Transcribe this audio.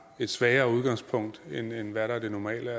et svagere udgangspunkt end hvad der er det normale og